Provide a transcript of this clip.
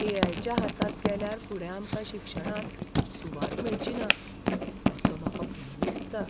ए. I. च्या हातांत गेल्यार फुडें आमकां शिक्षणांत सुवात मेळची ना असो म्हाका भंय दिसता.